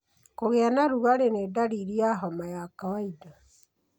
Kũgĩa na rugarĩ nĩ ndariri ya homa ya kawaida.